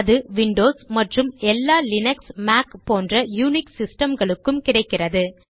அது விண்டோஸ் மற்றும் எல்லா லீனக்ஸ் மேக் போன்ற யுனிக்ஸ் சிஸ்டம்களுக்கும் கிடைக்கிறது